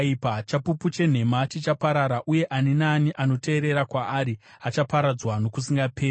Chapupu chenhema chichaparara, uye ani naani anoteerera kwaari achaparadzwa nokusingaperi.